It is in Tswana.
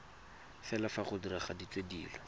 fela fa go diragaditswe dilo